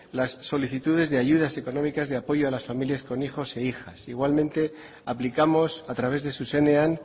las solicitudes de ayudas económicas de apoyo a las familias con hijos e hijas igualmente aplicamos a través de zuzenean